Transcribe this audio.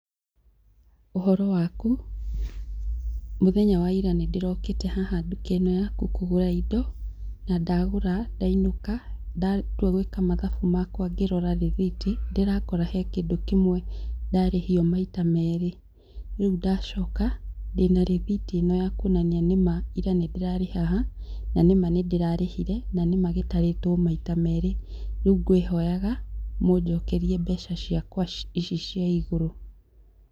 Ũhoro waku? Mũthenya wa ira nĩ ndĩrokĩte haha nduka ĩno yaku kũgũra indo, na ndagũra, ndainũka ndatua gwĩka mathabu makwa ngĩrora rĩthiti, ndĩrakora he kĩndũ kĩmwe ndarĩhio maita merĩ. Rĩu ndacoka, ndĩna rĩthiti ĩno ya kuonania nĩ ma, ira nĩ ndĩrarĩ haha na nĩ ma nĩndĩrarĩhire, na nĩ ma gĩtarĩtwo maita merĩ. Rĩu ngwĩhoyaga, mũnjokerie mbeca ciakwa ici cia igũrũ.